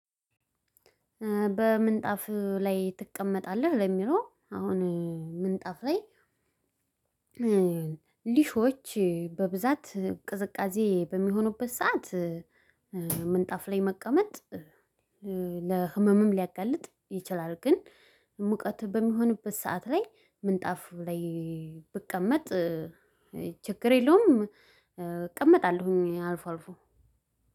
በምንጣፍ ላይ ትቀመጣለህ? ለሚለው አሁን ምንጣፍ ላይ ሊሾዎች በብዛት ቅዝቃዜ በሚሆኑበት ሰዓት ላይ መቀመጥ ለህመምም ሊያጋልጥ ይችላል። ግን ሙቀት በሚሆንበት ሰዓት ላይ ምንጣፍ ላይ ብቀመጥ ችግር የለውም። እቀመጣለሁኝ አልፎ አልፎ